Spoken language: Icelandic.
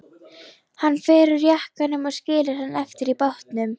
Hann fer úr jakkanum og skilur hann eftir í bátnum.